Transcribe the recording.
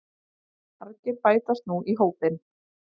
Margir bætast nú í hópinn